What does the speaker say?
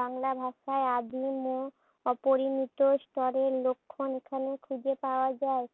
বাংলা ভাষায় আদিম ও অপরিণত স্তরের লক্ষণ এখানে খুঁজে পাওয়া যায়।